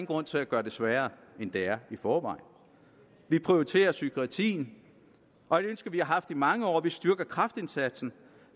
grund til at gøre det sværere end det er i forvejen vi prioriterer psykiatrien og et ønske vi har haft i mange år vi styrker kræftindsatsen